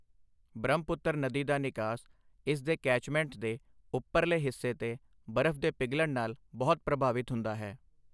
ਬ੍ਰਹਮਪੁੱਤਰ ਨਦੀ ਦਾ ਨਿਕਾਸ ਇਸ ਦੇ ਕੈਚਮੈਂਟ ਦੇ ਉਪਰਲੇ ਹਿੱਸੇ 'ਤੇ ਬਰਫ਼ ਦੇ ਪਿਘਲਣ ਨਾਲ ਬਹੁਤ ਪ੍ਰਭਾਵਿਤ ਹੁੰਦਾ ਹੈ।